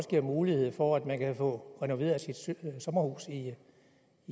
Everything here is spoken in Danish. giver mulighed for at man også kan få renoveret sit sommerhus i